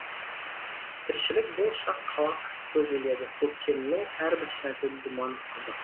тіршілік бұл шақ қалақ көз іледі көктемнің әрбір сәті думан қызық